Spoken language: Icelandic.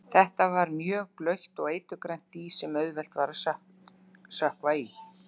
Þetta var mjög blautt og eiturgrænt dý sem auðvelt var að sökkva í.